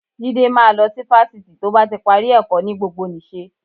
Jídé máa lọ sí fásitì tó bá ti parí ẹ̀kọ́ ní gbogbonìṣe